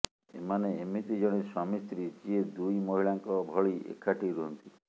ଏମାନେ ଏମିତି ଜଣେ ସ୍ୱାମୀସ୍ତ୍ରୀ ଯିଏ ଦୁଇ ମହିଳାଙ୍କ ଭଳି ଏକାଠି ରୁହନ୍ତି